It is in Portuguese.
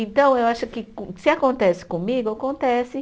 Então, eu acho que co, se acontece comigo, acontece.